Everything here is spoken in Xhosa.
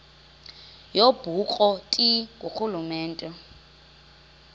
yobukro ti ngurhulumente